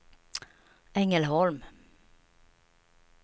Ängelholm